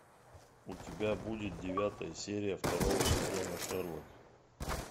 у тебя будет девятая серия второго сезона шерлок